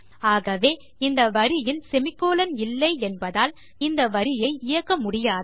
ஆகவே இந்த வரியில் செமிகோலன் இல்லை என்பதால் இந்த வரியை இயக்க முடியாது